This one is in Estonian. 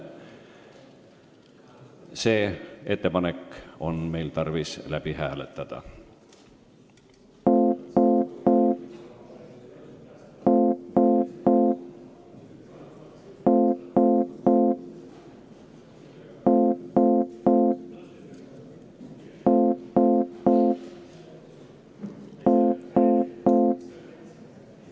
See ettepanek on meil tarvis läbi hääletada.